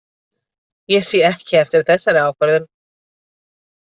Ég sé ekki eftir þessari ákvörðun.